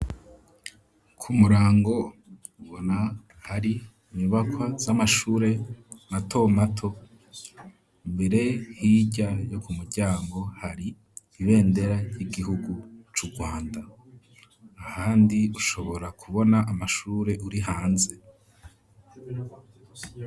Ku murango ubona hari imibakwa z'amashure mato mato imbere h'irya yo ku muryango hari ibendera y'igihugu c'urwanda ahandi ushobora kubona amashure uri hanze.